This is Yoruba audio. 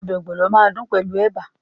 Ọbẹ̀ ogbono máa dùn pẹ̀lú ẹ̀bà.